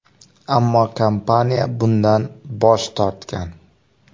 Ammo kompaniya bundan bosh tortgan.